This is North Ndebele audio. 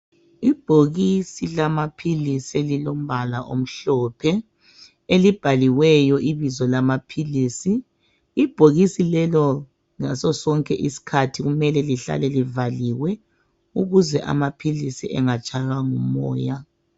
Ibhokisi lamaphilisi elilombala omhlophe elibhaliweyo ibizo lamaphilisi. Ibhokisi lelo ngasosonke isikhathi kumele lihlale livaliwe ukuze amaphilisi angatshaywa ngumoya.